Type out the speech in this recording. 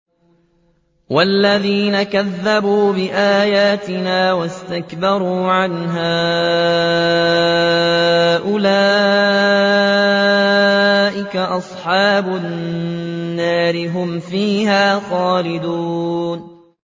وَالَّذِينَ كَذَّبُوا بِآيَاتِنَا وَاسْتَكْبَرُوا عَنْهَا أُولَٰئِكَ أَصْحَابُ النَّارِ ۖ هُمْ فِيهَا خَالِدُونَ